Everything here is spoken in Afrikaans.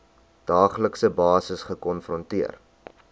daaglikse basis gekonfronteer